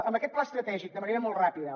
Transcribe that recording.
amb aquest pla estratègic de manera molt ràpida